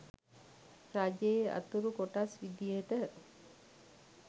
රජයේ අතුරු කොටස් විදියට